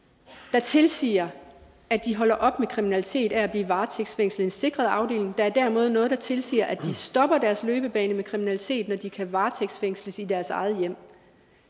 der tilsiger at de holder op med kriminalitet af at blive varetægtsfængslet i en sikret afdeling der er derimod noget der tilsiger at de stopper deres løbebane med kriminalitet når de kan varetægtsfængsles i deres eget hjem